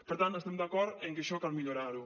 per tant estem d’acord en que això cal millorar ho